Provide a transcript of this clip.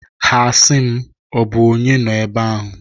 Ha a sị m "Ọ bụ onyee nọ ebe ahụ?"